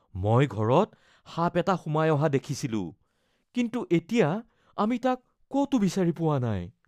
মই ঘৰত সাপ এটা সোমাই অহা দেখিছিলো কিন্তু এতিয়া আমি তাক ক'তো বিচাৰি পোৱা নাই